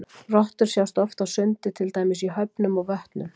Rottur sjást oft á sundi til dæmis í höfnum og vötnum.